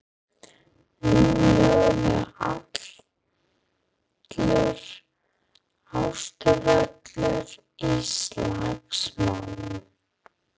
Nú logaði allur Austurvöllur í slagsmálum.